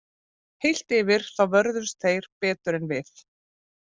Heilt yfir þá vörðust þeir betur en við.